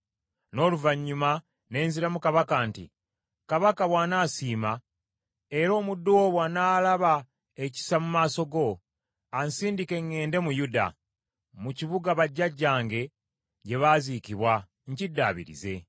n’oluvannyuma ne nziramu kabaka nti, “Kabaka bw’anasiima, era omuddu wo bw’anaalaba ekisa mu maaso go, ansindike ŋŋende mu Yuda, mu kibuga bajjajjange gye baaziikibwa, nkiddaabirize.”